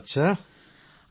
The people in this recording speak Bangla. হ্যাঁ